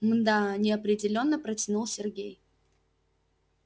мда неопределённо протянул сергей